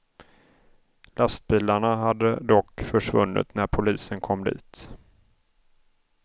Lastbilarna hade dock försvunnit när polisen kom dit.